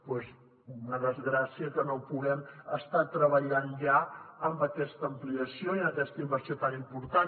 doncs és una desgràcia que no puguem estar treballant ja en aquesta ampliació i en aquesta inversió tan important